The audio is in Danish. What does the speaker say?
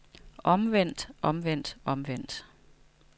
omvendt omvendt omvendt